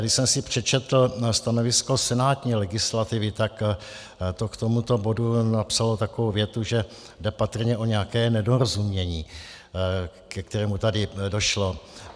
Když jsem si přečetl stanovisko senátní legislativy, tak to k tomuto bodu napsalo takovou větu, že jde patrně o nějaké nedorozumění, ke kterému tady došlo.